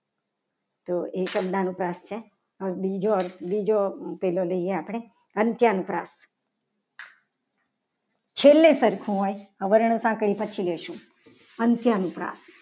તો એ શબ્દ અનુપ્રાસ છે. બીજો અર્થ બીજો પહેલો લઈએ. આપણે અંત્ય અનુપ્રાસ છેલ્લે સરખું હોય. અંત્ય અનુપ્રાસ